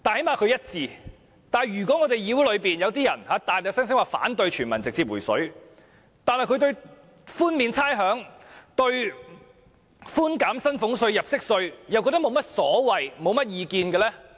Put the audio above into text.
可是，議會內卻有些議員聲稱反對全民直接"回水"，但對寬免差餉、寬減薪俸稅和入息稅卻沒有意見。